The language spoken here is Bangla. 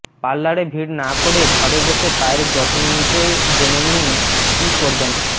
পার্লারে ভিড় না করে ঘরে বসে পায়ের যত্ন নিতে জেনে নিন কি করবেন